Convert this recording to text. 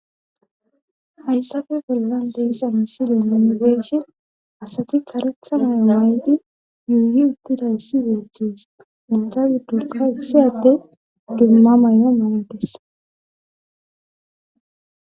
Hayssafe bollan deyssa misile ninegeeshi asati karethanay may7di yuuyi uttida issi beethtes intal dunka issiyadde dumma may'o may'ydes.